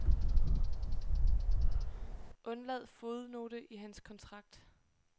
Undlad fodnote i hans kontrakt.